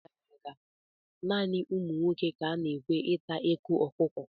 N'oge gara aga, naanị ụmụ nwoke ka a na-ekwe ịta eko ọkụkọ.